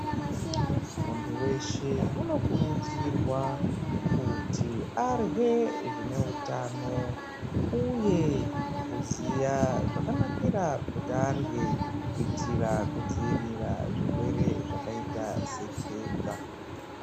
Muntu weshe unokurudzirwa kuti arye zvineutano uye kuziya zvakanakira kuti arye kuitira kudziirira zvirwere zvakaita sekenza .